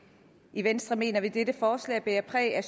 i venstre mener vi dette forslag bærer præg af at